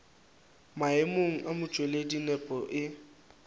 maemong a motšweletši nepo e